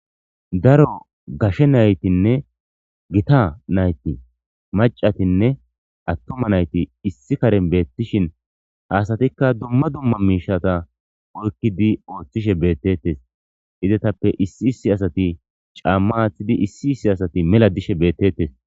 daro gashe naytinne gita nayti macatinne attoma nayti issi karen beettishin haasatikka dumma dumma miishata oykkidi ooththishe beettetes izetappe issi issi asati caamma aaththidi issi issi asati mela dishe beettettes.